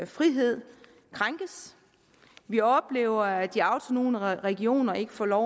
frihed krænkes vi oplever at de autonome regioner ikke får lov